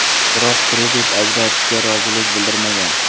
Biroq kredit ajratishga rozilik bildirmagan.